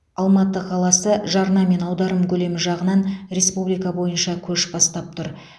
алматы қаласы жарна мен аударым көлемі жағынан республика бойынша көш бастап тұр